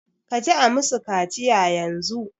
Kaji a musu kaciya yanzu